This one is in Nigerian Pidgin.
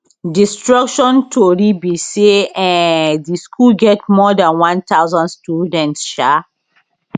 destruction tori be say um di school get more dan one thousand students um